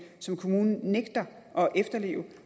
som kommunen nægter at efterleve